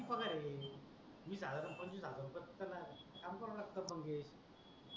किती पगार आहे वीस हजार पंचवीस हजार फक्त पगार आहे काम कर लागतो मंगेश